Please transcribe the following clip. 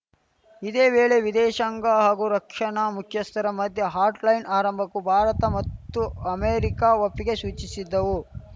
ಇದೇ ವೇಳೆ ವಿದೇಶಂಗ ಹಾಗೂ ರಕ್ಷಣಾ ಮುಖ್ಯಸ್ಥರ ಮಧ್ಯೆ ಹಾಟ್‌ಲೈನ್‌ ಆರಂಭಕ್ಕೂ ಭಾರತ ಮತ್ತು ಅಮೆರಿಕ ಒಪ್ಪಿಗೆ ಸೂಚಿಶಿದ್ದವು